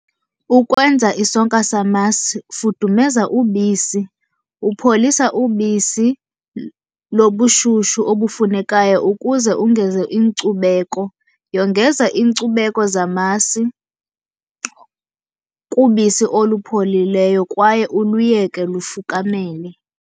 Ukwenza isonka samasi, fudumenza ubisi. Upholisa ubisi lobushushu obufunekayo ukuze ungeze iinkcubeko. Yongeza iinkcubeko zamasi kubisi olupholileyo kwaye uluyeke lufukamele.